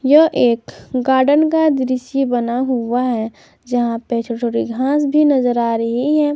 यह एक गार्डन का दृश्य बना हुआ है जहा पे छोटी छोटी घास भी नजर आ रही है।